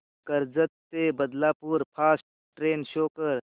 कर्जत ते Badlapur fast train show कर